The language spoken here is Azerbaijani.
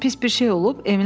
Nə isə pis bir şey olub?